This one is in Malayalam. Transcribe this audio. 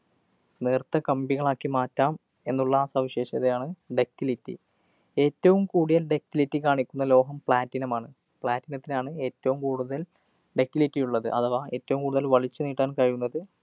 നേര്‍ത്ത കമ്പികളാക്കി മാറ്റാം എന്നുള്ള സവിശേഷതയാണ് ductility. ഏറ്റവും കൂടിയ ductility കാണിക്കുന്ന ലോഹം platinum മാണ്. platinum ത്തിനാണ് ഏറ്റവും കൂടുതല്‍ ductility ഉള്ളത്. അഥവാ ഏറ്റവും കൂടുതല്‍ വലിച്ചു നീട്ടാന്‍ കഴിയുന്നത്.